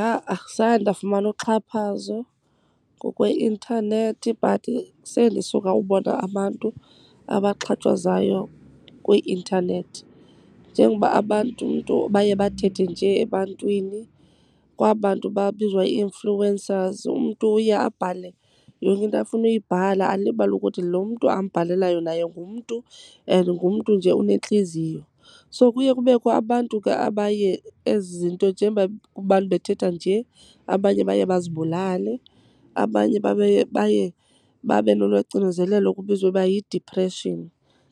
Ha-a, zange ndafumana uxhaphazo ngokweintanethi but sendisuka ubona abantu abaxhatshazwayo kwi-intanethi. Njengoba abantu umntu baye bathethe njee ebantwini, kwaba 'ntu babizwa i-influencers. Umntu uye abhale yonke into afuna uyibhala, alibale ukuthi lo mntu ambhalelayo naye ngumntu and ngumntu nje unentliziyo. So kuye kubekho abantu ke abaye ezi zinto, njengoba abantu bethetha nje, abanye baye bazibulale. Abanye baye babe nolwaa cinezelelo kubizwa uba yidiphreshini